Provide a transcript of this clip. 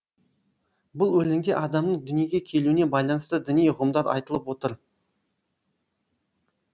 бұл өлеңде адамның дүниеге келуіне байланысты діни ұғымдар айтылып отыр